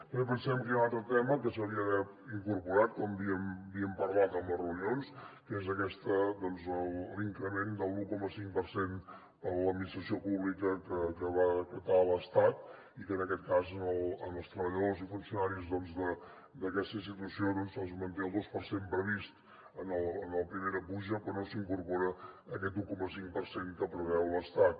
també pensem que hi ha un altre tema que s’hauria d’haver incorporat com havíem parlat en les reunions que és aquest increment de l’un coma cinc per cent per a l’administració pública que va decretar l’estat i que en aquest cas als treballadors i funcionaris d’aquesta institució se’ls manté el dos per cent previst en la primera puja però no s’incorpora aquest un coma cinc per cent que preveu l’estat